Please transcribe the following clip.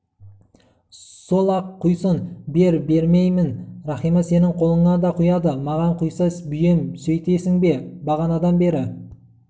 сол-ақ құйсын бер беймеймін рахима сенің қолыңа да құяды маған құйса бейем сөйтпейсің бе бағанадан бері